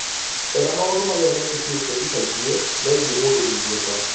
etha maũndũ marĩa mekĩkĩte ica ikuhĩ megiĩ mũndũ wĩ igweta